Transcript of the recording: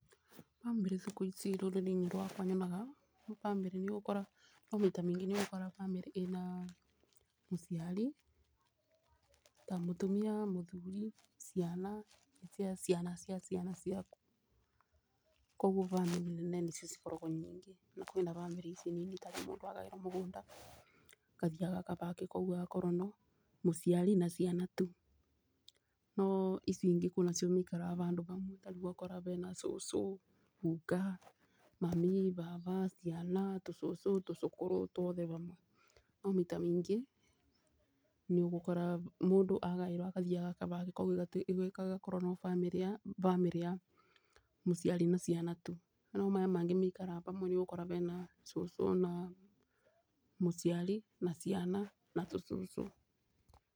Bamĩrĩ thikũ ici rũrĩrĩ-inĩ rwakwa nyonaga bamĩrĩ nĩ no maita maingĩ nĩ ũkoraga bamĩrĩ ĩna mũciari ta mũtumia, mũthuri ciana cia ciana cia ciana ciaku. Koguo bamĩrĩ nene nĩ cio cikoragwo nyingĩ, no kwĩna bamĩrĩ ici nini tarĩu mũndũ agaĩrwo mũgũnda akathiĩ agaka bake koguo agakorwo no mũciari na ciana tu. No icio ingĩ kwĩnacio maikaraga bandũ bamwe ta rĩu ũgakora bena cũcũ, guka mami, baba, ciana, tũcũcũ, tũcũkũrũ twothe bamwe. No maita maingĩ nĩ ũgũkora mũndũ agaĩrwo, agathi agaka bake koguo ĩgakorwo no bamĩrĩ ya mũciari na ciana tu. No maya mangĩ maikaraga bamwe nĩ ũgũkora mena cũcũ, na mũciari na ciana na tũcũcũ.